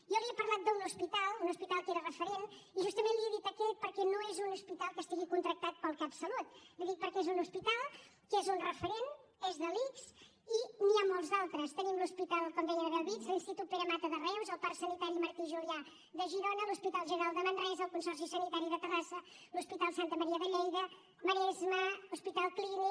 jo li he parlat d’un hospital un hospital que era referent i justament li he dit aquest perquè no és un hospital que estigui contractat pel catsalut li ho dic perquè és un hospital que és un referent és de l’ics i n’hi ha molts d’altres tenim l’hospital com deia de bellvitge l’institut pere mata de reus el parc sanitari martí julià de girona l’hospital general de manresa el consorci sanitari de terrassa l’hospital santa maria de lleida maresme hospital clínic